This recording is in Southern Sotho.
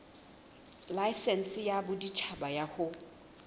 laesense ya boditjhaba ya ho